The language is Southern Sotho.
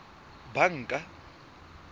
banka